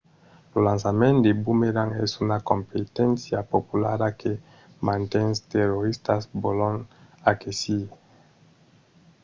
lo lançament de bomerang es una competéncia populara que mantes toristas vòlon aquesir